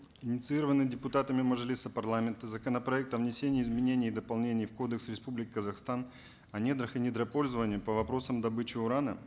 инициированный депутатами мажилиса парламента законопроект о внесении изменений и дополнений в кодекс республики казахстан о недрах и недропользований по вопросам добычи урана